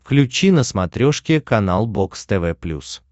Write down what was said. включи на смотрешке канал бокс тв плюс